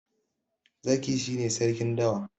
Zaki shi ne Sarkin dawa.